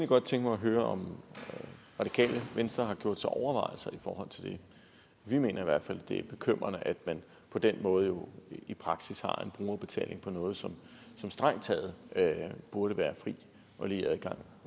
godt tænke mig at høre om radikale venstre har gjort sig overvejelser i forhold til det vi mener i hvert fald at det er bekymrende at man på den måde jo i praksis har en brugerbetaling på noget som der strengt taget burde være fri og lige adgang